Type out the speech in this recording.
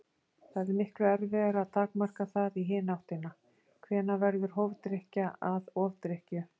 Það er miklu erfiðara að takmarka það í hina áttina: Hvenær verður hófdrykkja að ofdrykkju?